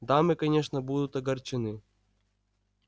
дамы конечно будут огорчены